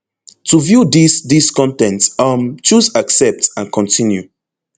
to view dis dis con ten t um choose accept and continue